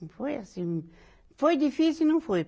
Não foi assim. Foi difícil e não foi.